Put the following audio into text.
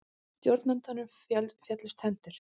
Stjórnandanum féllust hendur.